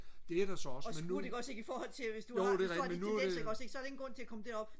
det er der så også men nu jo det er rigtigt men nu er det øh